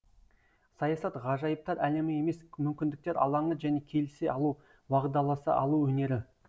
саясат ғажайыптар әлемі емес мүмкіндіктер алаңы және келісе алу уағдаласа алу өнері